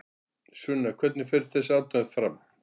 Sunna hvernig fer þessi athöfn fram?